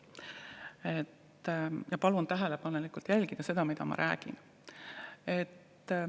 Palun jälgida tähelepanelikult, mida ma räägin.